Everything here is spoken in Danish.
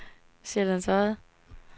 Sjællands Odde